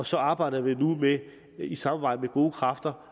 så arbejder vi nu i samarbejde med gode kræfter